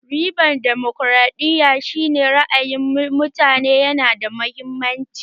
Ribar damokaraɗiya shi ne ra'ayin mutane yana da mahimmanci